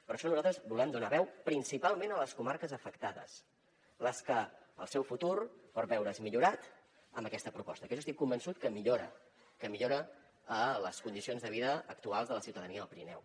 per això nosaltres volem donar veu principalment a les comarques afectades les que el seu futur pot veure’s millorat amb aquesta proposta que jo estic convençut que millora que millora les condicions de vida actuals de la ciutadania del pirineu